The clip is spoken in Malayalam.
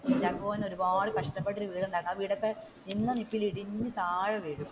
കുഞ്ചാക്കോ ബോബൻ ഒരുപാട് കഷ്ടപ്പെട്ട് ഒരു വീട് ഉണ്ടാക്കും ആ വീടൊക്കെ നിന്നനിപ്പിൽ ഇടിഞ്ഞു താഴെ വീഴും.